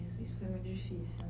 Isso foi muito difícil, né?